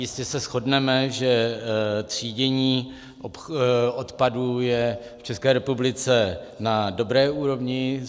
Jistě se shodneme, že třídění odpadu je v České republice na dobré úrovni.